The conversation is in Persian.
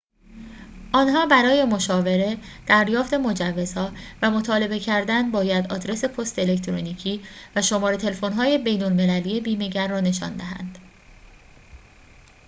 آن‌ها برای مشاوره/دریافت مجوزها و مطالبه کردن باید آدرس پست الکترونیکی و شماره تلفن‌های بین‌المللی بیمه‌گر را نشان دهند